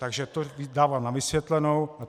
Takže to dávám na vysvětlenou.